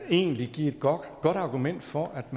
egentlig give et godt argument for at